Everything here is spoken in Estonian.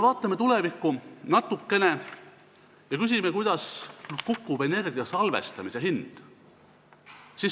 Vaatame natukene tulevikku ja küsime, kuidas kukub energia salvestamise hind.